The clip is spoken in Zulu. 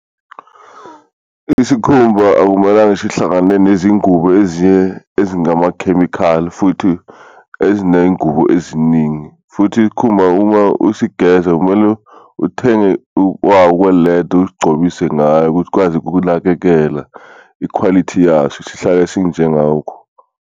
Isikhumba akumelanga sihlangane nezingubo ezinye ezingamakhemikhali futhi ezinengubo eziningi, futhi isikhumba uma usigeza kumele uthenge kweleda usigcobise ngayo ukuthi ukwazi ukunakekela i-quality yaso sihlale sinjengawukho.